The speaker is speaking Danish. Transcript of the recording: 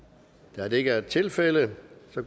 da det ikke er tilfældet